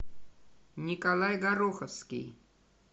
николай гороховский